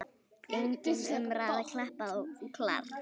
Engin umræða, klappað og klárt.